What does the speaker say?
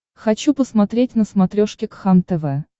хочу посмотреть на смотрешке кхлм тв